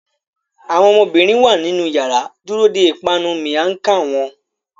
Awọn ọmọbirin wa ninu yàrá dúró dè ipanu miang Khan wón